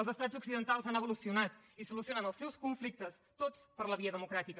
els estats occidentals han evolucionat i solucionen els seus conflictes tots per la via democràtica